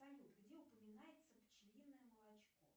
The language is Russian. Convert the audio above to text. салют где упоминается пчелиное молочко